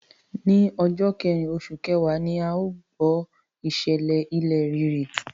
Ní ọjọ́ kẹrìn oṣù kẹwàá ni a gbọ́ ìṣẹ̀lẹ̀ ilẹ̀ rírì.